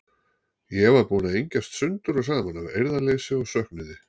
Ég var búin að engjast sundur og saman af eirðarleysi og söknuði.